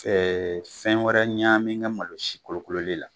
fɛn wɛrɛ ɲamin n ka malo sikolokololen la